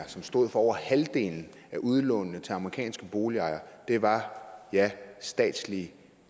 som stod for over halvdelen af udlånene til amerikanske boligejere var statslige